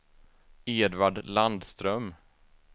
Edvard Landström